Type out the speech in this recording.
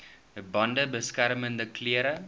bande beskermende klere